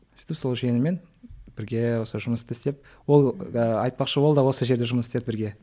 сөйтіп сол жиеніммен бірге осы жұмысты істеп ол айтпақшы ол да осы жерде жұмыс істеді бірге